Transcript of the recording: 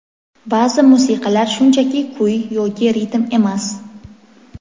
Ba’zi musiqalar shunchaki kuy yoki ritm emas.